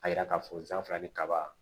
A yira k'a fɔ fila ni kaba